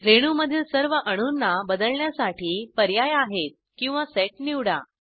रेणूमधील सर्व अणूंना बदलण्यासाठी पर्याय आहेत किंवा सेट निवडा